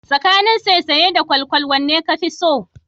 Tsakanin saisaye da kwalkwal wanne kafi so?